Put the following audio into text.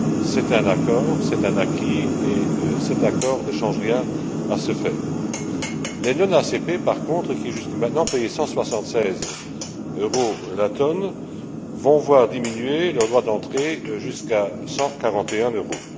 C'est un accord, c'est un acquis et cet accord ne change rien à ce fait. Les pays non ACP par contre, qui, jusque maintenant, payaient cent soixante seize euros la tonne, vont voir diminuer leur droits d'entrée jusqu'à cent quarante et un euros.